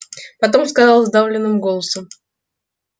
потом сказал сдавленным голосом